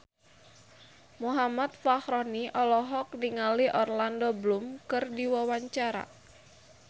Muhammad Fachroni olohok ningali Orlando Bloom keur diwawancara